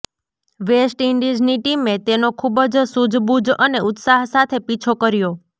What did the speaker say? વેસ્ટઈંડિઝની ટીમે તેનો ખૂબ જ સૂઝબૂઝ અને ઉત્સાહ સાથે પીછો કર્યો